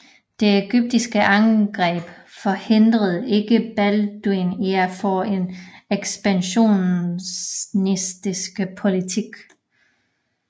De egyptiske angreb forhindrede ikke Balduin i at føre en ekspansionistisk politik